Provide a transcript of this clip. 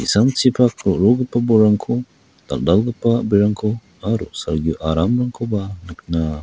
ro·rogipa bolrangko dal·dalgipa a·brirangko aro salgio aramrangkoba nikna--